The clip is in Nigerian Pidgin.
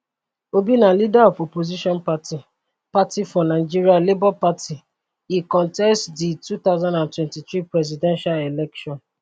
obi na leader of opposition party party for nigeria labour party e contest di 2023 presidential election